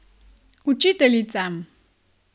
Učiteljica!